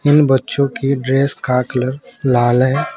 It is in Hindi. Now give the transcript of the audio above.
इन बच्चों की ड्रेस का कलर लाल है।